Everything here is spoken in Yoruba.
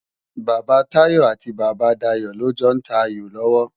Baba Tayo ati Baba Dayo lò jò n tá áyó lòwò